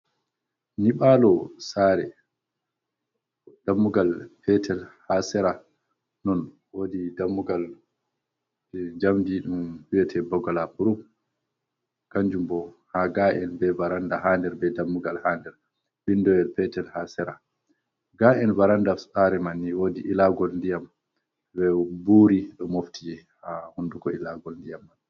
Nyiɓalo saare dammugal petel ha sera, non wodi dammugal jamdi ɗum wi'ate bagalapuruf kanjumbo ha ga’en be varanda hander be dammugal hander windowel petel ha sera, ga’el varandofs sare manni wodi ilagol ndiyam be buri ɗo mofti je ha hunduko ilagol ndiyam man.